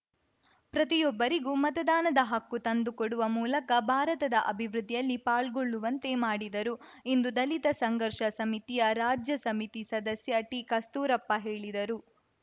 ಪ್ರತಿಯೊಬ್ಬರಿಗೂ ಮತದಾನದ ಹಕ್ಕು ತಂದು ಕೊಡುವ ಮೂಲಕ ಭಾರತದ ಅಭಿವೃದ್ಧಿಯಲ್ಲಿ ಪಾಲ್ಗೊಳ್ಳುವಂತೆ ಮಾಡಿದರು ಎಂದು ದಲಿತ ಸಂಘರ್ಷ ಸಮಿತಿಯ ರಾಜ್ಯ ಸಮಿತಿ ಸದಸ್ಯ ಟಿ ಕಸ್ತೂರಪ್ಪ ಹೇಳಿದರು